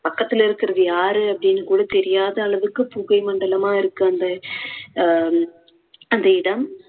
பக்கத்துல இருக்குறது யாரு அப்படின்னு கூட தெரியாத அளவுக்கு புகை மண்டலமா இருக்கு அந்த அஹ் அந்த இடம்.